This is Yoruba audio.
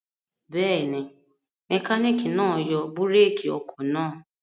Bẹ́ẹ̀ ni, mẹkáníkì náa yọ búrékì ọkọ̀ náà.